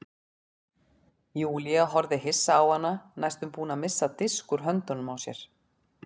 Júlía horfði hissa á hana næstum búin að missa disk úr höndunum á sér.